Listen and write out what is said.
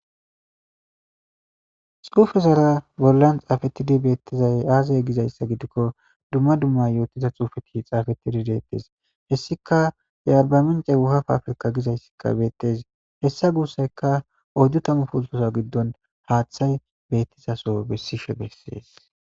Xuufe zara bollan xaafetidi beettizay aazay gizayssa gidikko dumma dumma yootiza xuufe ki xaafetidi deettes hessika yearba mince wuhaf afrika gizayssikka beettes hessa guussayka odu tamu pultosa giddon haaththay beettizaso bessishe bessees.